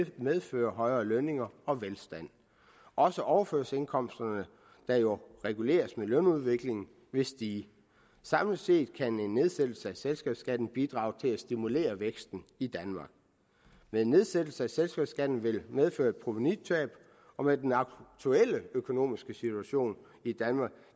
medføre højere lønninger og velstand også overførselsindkomsterne der jo reguleres med lønudviklingen vil stige samlet set kan en nedsættelse af selskabsskatten bidrage til at stimulere væksten i danmark men en nedsættelse af selskabsskatten vil medføre et provenutab og med den aktuelle økonomiske situation i danmark